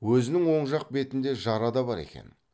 өзінің оң жақ бетінде жара да бар екен